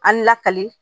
An lakali